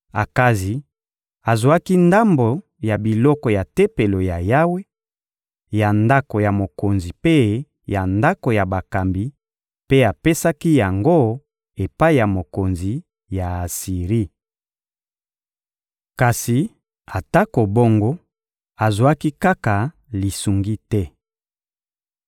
Akazi azwaki ndambo ya biloko ya Tempelo ya Yawe, ya ndako ya mokonzi mpe ya bandako ya bakambi; mpe apesaki yango epai ya mokonzi ya Asiri. Kasi atako bongo, azwaki kaka lisungi te.